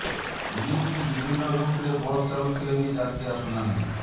ଏମିତିକି ବିଭିନ୍ନ ରୁଟ୍ରେ ବସ୍ ଚାଲୁଥିଲେ ବି ଯାତ୍ରୀ ଆସୁନାହାନ୍ତି